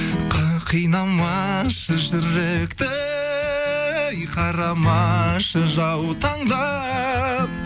қинамашы жүректі ей қарамашы жаутаңдап